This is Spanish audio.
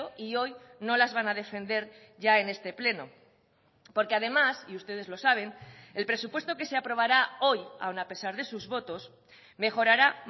y hoy no las van a defender ya en este pleno porque además y ustedes lo saben el presupuesto que se aprobará hoy aun a pesar de sus votos mejorará